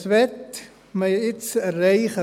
Was möchte man jetzt erreichen?